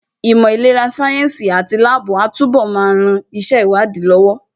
Ìmọ̀ ìlera sáyẹ́ǹsì àti láàbù á túnbọ̀ máa ran iṣẹ́ ìwádìí lọ́wọ́